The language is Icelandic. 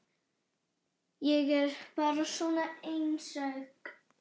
Ég er bara svona einsog.